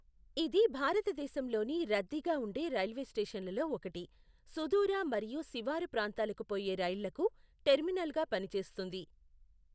ఇది భారతదేశంలోని రద్దీగా ఉండే రైల్వే స్టేషన్లలో ఒకటి, సుదూర మరియు శివారుప్రాంతాలకు పోయే రైళ్లకు టెర్మినల్గా పనిచేస్తుంది.